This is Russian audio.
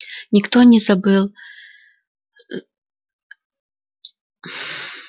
никто не был забыл